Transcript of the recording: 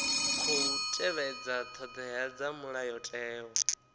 khou tevhedza thodea dza mulayotewa